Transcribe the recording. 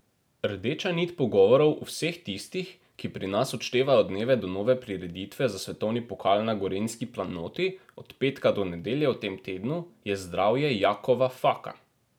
Rdeča nit pogovorov vseh tistih, ki pri nas odštevajo dneve do nove prireditve za svetovni pokal na gorenjski planoti, od petka do nedelje v tem tednu, je zdravje Jakova Faka.